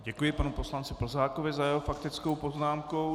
Děkuji panu poslanci Plzákovi za jeho faktickou poznámku.